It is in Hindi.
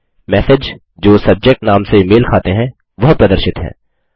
मैसेज जो सब्जेक्ट नाम से मेल खाते हैं वह प्रदर्शित हैं